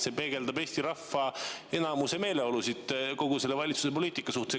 See peegeldab Eesti rahva enamuse meeleolusid kogu selle valitsuse poliitika suhtes.